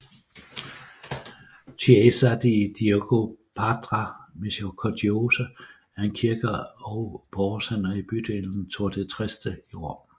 Chiesa di Dio Padre Misericordioso er en kirke og borgercenter i bydelen Tor Tre Teste i Rom